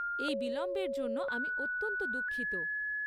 এই বিলম্বের জন্য আমি অত্যন্ত দুঃখিত।